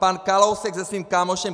Pan Kalousek se svým kámošem